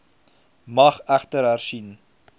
mag egter hersien